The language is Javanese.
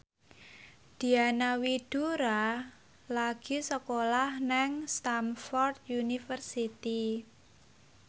Diana Widoera lagi sekolah nang Stamford University